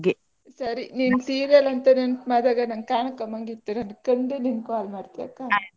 ಸರಿ ನಿನ್ serial ಅಂತ ನೆನಪ್ ಮಾಡ್ದಾಗ ನನ್ಗೆ ಕಾಣ್ಕಂಬಂಗ್ ಇತ್ ನಾನ್ ಕಂಡ್ ನಿಂಗೆ call ಮಾಡ್ತೆ ಆಯ್ತಾ.